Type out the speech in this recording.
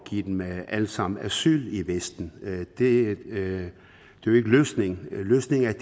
give dem alle sammen asyl i vesten det er jo ikke løsningen løsningen er